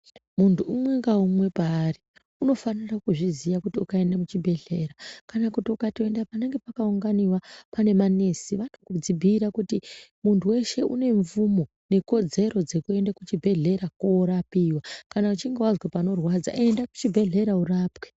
Muntu umwe naumwe paari unofana kuzviziya kuti ukaenda muchibhedhlera kana ukaenda panenge pakaunganiwa pane manesi anokubhuira kuti muntu weshe une mvumo nekodzero dzekuenda kuchibhedhlera korapiwa kana uchinge wanzwa panorwadza enda kuchibhedhlera urapwe.